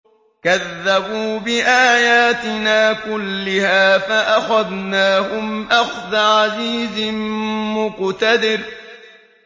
كَذَّبُوا بِآيَاتِنَا كُلِّهَا فَأَخَذْنَاهُمْ أَخْذَ عَزِيزٍ مُّقْتَدِرٍ